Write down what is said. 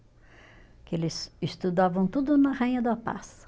Porque eles estudavam tudo na Rainha da Paz.